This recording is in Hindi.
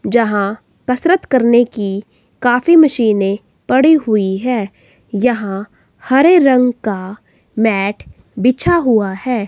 जहां कसरत करने की काफी मशीनें पड़ी हुई है यहां हरे रंग का मैट बिछा हुआ है।